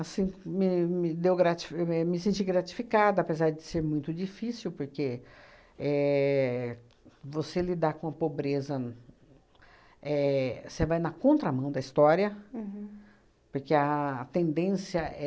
Assim, me me deu grati me me senti gratificada, apesar de ser muito difícil, porque éh você lidar com a pobreza, éh você vai na contramão da história, porque a tendência é